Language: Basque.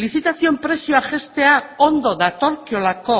lizitazioen prezioa jaistea ondo datorkiolako